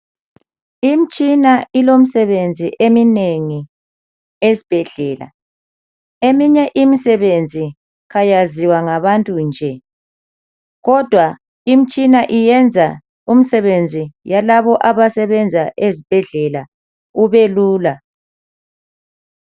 Imtshina ilomsebenzi eminengi esbhedlela. Eminye imsebenzi kayaziwa ngabantu nje. Kodwa imtshina iyenza umsebenzi yalabo abasebenza ezbhedlela ubelula.